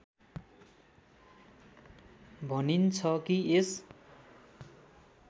भनिन्छ कि यस